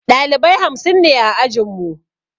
Ɗalibai hamsin ne a ajinmu